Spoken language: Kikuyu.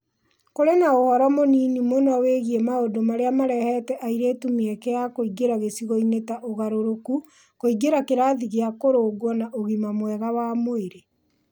Kũrĩ na ũhoro mũnini mũno wĩgiĩ maũndũ marĩa marehete airĩtu mĩeke ya kũingĩra gĩcigo-inĩ ta ũgarũrũku, kũingĩra kĩrathi gĩa kũrũngwo, na ũgima mwega wa mwĩrĩ.